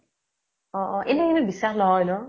অ অ এনে কিন্তু বিশ্বাস নহয় ন ?